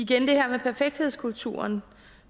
det her med perfekthedskulturen